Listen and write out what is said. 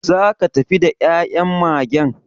Zaka tafi da ya'yan Magen?